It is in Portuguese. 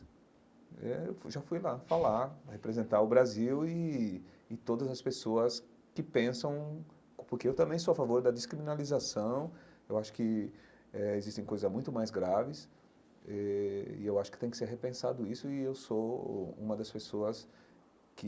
Eh eu fui já fui lá falar, representar o Brasil e e todas as pessoas que pensam, porque eu também sou a favor da descriminalização, eu acho que eh existem coisas muito mais graves, eh e eu acho que tem que ser repensado isso, e eu sou uma das pessoas que